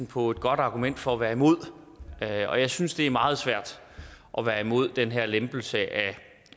på et godt argument for at være imod og jeg synes det er meget svært at være imod den her lempelse af